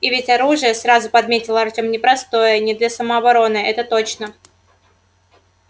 и ведь оружие сразу подметил артем непростое не для самообороны это точно